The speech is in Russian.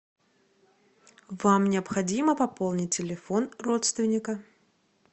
вам необходимо пополнить телефон родственника